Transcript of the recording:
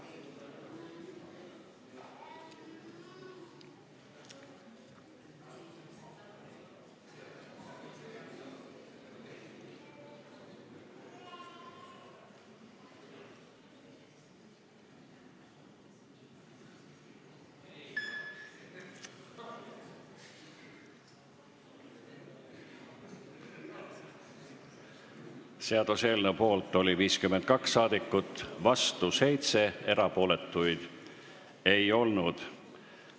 Hääletustulemused Seaduseelnõu poolt oli 52 saadikut, vastu 7, erapooletuid ei olnud.